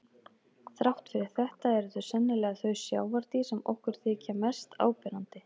Þrátt fyrir þetta eru þau sennilega þau sjávardýr sem okkur þykja mest áberandi.